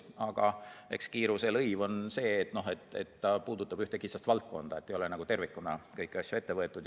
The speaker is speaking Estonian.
Samas, eks kiiruse eest makstav lõiv on see, et eelnõu puudutab ühte kitsast valdkonda, ei ole tervikuna kõiki asju ette võetud.